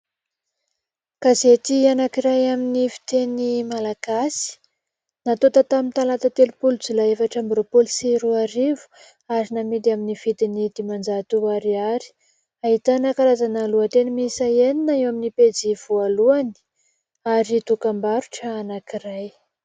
Gazety anankiray amin'ny fiteny malagasy natonta tamin'ny talata telompolo jolay efatra amby roampolo sy roa arivo ary namidy amin'ny vidiny dimanjato ariary ahitana karazana lohan-teny miisa enina eo amin'ny pejy voalohany ary dokam-barotra anankiray.